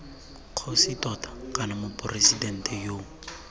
kgosi tota kana moporesidente yo